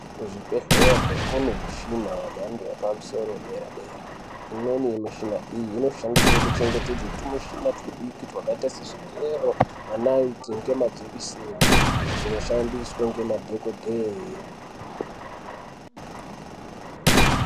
Kuzvibhedhlera kune mishina yemhando yepamusoro dera dera imweni mishina iyi inoshandiswa kuchengetedza tumushina tudiki twakaita sezvigero manaiti ngemajekiseni zvinoshandiswa ngemadhokodheiii.